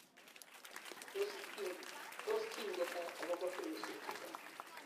tos kingen ne akobo virusik chuto?